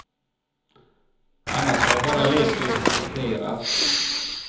Annars har jag bara lekt och improviserat.